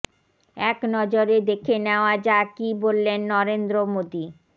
এক নজরে দেখে নেওয়া যাক কী বললেন নরেন্দ্র মোদী